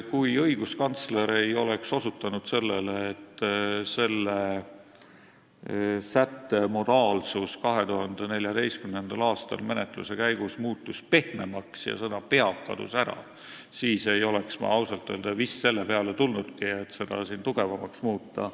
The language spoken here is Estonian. " Kui õiguskantsler ei oleks osutanud sellele, et selle sätte modaalsus muutus 2014. aastal menetluse käigus pehmemaks ja sõna "peab" kadus ära, siis ei oleks ma ausalt öelda vist selle peale tulnudki, et seda sõnastust tugevamaks muuta.